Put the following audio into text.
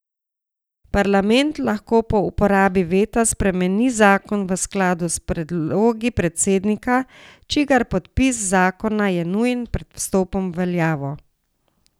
Parlament lahko po uporabi veta spremeni zakon v skladu s predlogi predsednika, čigar podpis zakona je nujen pred vstopom v veljavo.